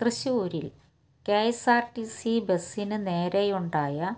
ത്യശൂരില് K S R T C ബസിന് നേരെയുണ്ടായ